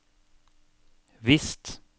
visst